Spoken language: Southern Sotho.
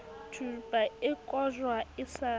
thupa e kojwa e sa